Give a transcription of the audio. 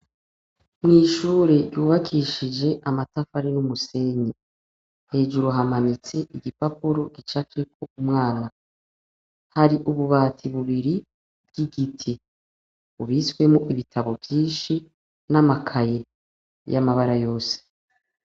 Mu ishuri ryubakishije amatafari n'umusenyi hejuru hamanitse igipapuro gicafyeko umwana hari ububati bubiri bw'igiti bubitswemwo ibitabo vyishi n'amakaye yamabara yose.